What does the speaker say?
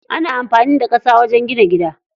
Ana amfani da ƙasa wajen gina gida.